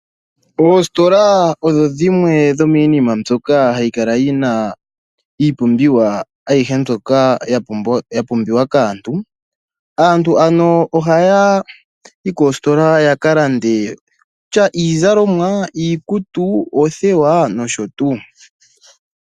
Oositola odho dhimwe dhomiinima mbyoka hayi kala yi na iipumbiwa ayihe mbyoka ya pumbiwa kaantu. Aantu ano ohaya yi koositola ya ka lande iizalomwa, iikutu, oothewa nosho tuu.